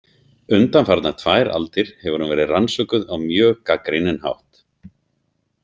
Undanfarnar tvær aldir hefur hún verið rannsökuð á mjög gagnrýninn hátt.